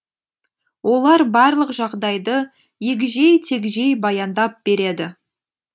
олар барлық жағдайды егжей тегжей баяндап береді